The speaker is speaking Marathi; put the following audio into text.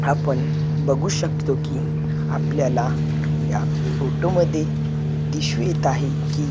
आपण बघू शकतो की आपल्याला या फोटोमध्ये आहे की--